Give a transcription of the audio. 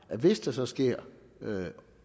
at hvis der så sker